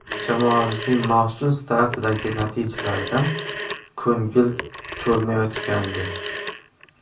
Jamoamizning mavsum startidagi natijalaridan ko‘ngil to‘lmayotgandi.